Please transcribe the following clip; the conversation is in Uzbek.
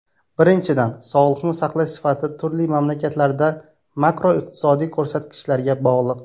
Birinchidan, sog‘liqni saqlash sifati turli mamlakatlarda makroiqtisodiy ko‘rsatkichlarga bog‘liq.